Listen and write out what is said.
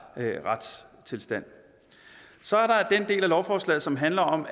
retstilstand så er der den del af lovforslaget som handler om